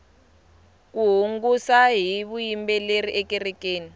ku hungasa hi vuyimbeleri ekerekeni